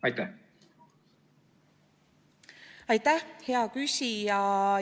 Aitäh, hea küsija!